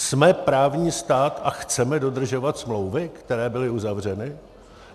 Jsme právní stát a chceme dodržovat smlouvy, které byly uzavřeny?